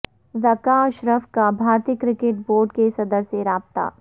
ذکا اشرف کا بھارتی cricket board کے صدر سے رابطہ